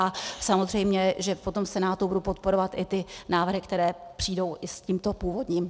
A samozřejmě že potom v Senátu budu podporovat i ty návrhy, které přijdou i s tímto původním.